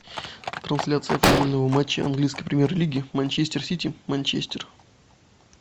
трансляция футбольного матча английской премьер лиги манчестер сити манчестер